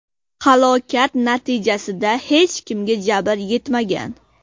Halokat natijasida hech kimga jabr yetmagan.